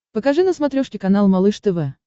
покажи на смотрешке канал малыш тв